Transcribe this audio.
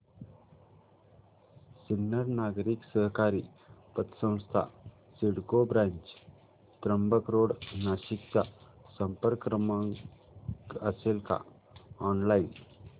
Sinnar Nagari Sahakari Patsanstha CIDCO branch Trimbak road Nashik चा संपर्क क्रमांक असेल का ऑनलाइन